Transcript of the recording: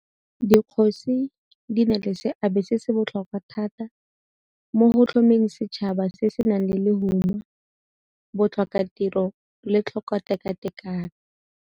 Dikgosi di na le seabe se se botlhokwa thata mo go tlhomeng setšhaba se se senang lehuma, botlhokatiro le tlhokotekatekano.